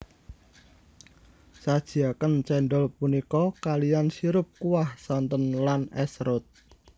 Sajiaken cendol punika kaliyan sirup kuah santen lan es serut